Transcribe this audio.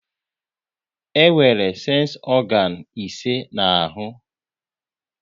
E nwere sensi ọganu ise n'ahụ